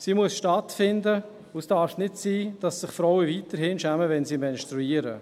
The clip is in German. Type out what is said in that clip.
Sie muss stattfinden, und es darf nicht sein, dass sich Frauen weiterhin schämen, wenn sie menstruieren.